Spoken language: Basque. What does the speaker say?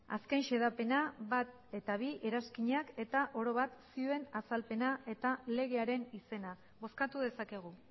azken xedapena bat eta bi eranskinak eta oro bat zioen azalpena eta legearen izena bozkatu dezakegu